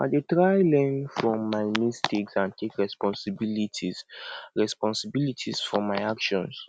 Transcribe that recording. i dey try learn from my mistakes and take responsibility responsibility for my actions